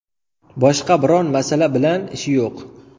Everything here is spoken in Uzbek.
Boshqa biron masala bilan ishi yo‘q.